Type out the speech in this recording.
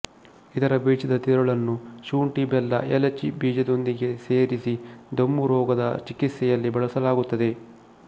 ಇದರ ಬೀಜದ ತಿರುಳನ್ನು ಶುಂಠಿ ಬೆಲ್ಲ ಎಲಚಿ ಬೀಜದೊಂದಿಗೆ ಸೇರಿಸಿ ದಮ್ಮು ರೋಗದ ಚಿಕಿತ್ಸೆಯಲ್ಲಿ ಬಳಸಲಾಗುತ್ತದೆ